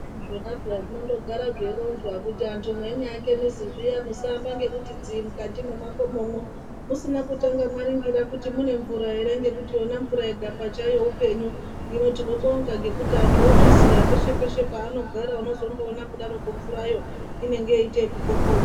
Zvona peya zvinondogara zveironzwa kuti antu meinyaake mizi zviya musaamba ngekuti dziri mukati mwemakomomwo musina kutanga maringira kuti mune mvura ere ngekuti Yona mvura yega pachayo upenyu hino tinobonga ngekuti antu ozviziya peshe peshe paanogara unozondoona kudaroko mvurayo inenge yeiite ekupopoma.